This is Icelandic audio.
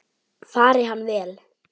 Fari hann vel.